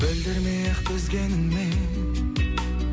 білдірмей ақ төзгеніңмен